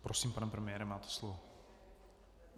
Prosím, pane premiére, máte slovo.